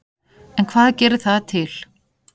En hvað gerir það til